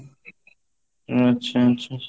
ଆଛା ଆଛା